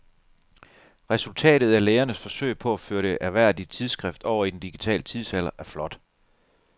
Resultatet af lægernes forsøg på at føre det ærværdige tidsskrift over i den digitale tidsalder er flot.